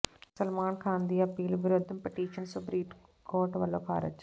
ਸਲਮਾਨ ਖਾਨ ਦੀ ਅਪੀਲ ਵਿਰੁੱਧ petition supreme court ਵੱਲੋਂ ਖਾਰਜ